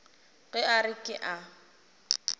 ge a re ke a